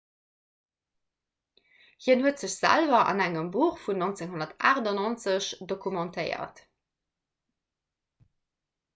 hien huet sech selwer an engem buch vun 1998 dokumentéiert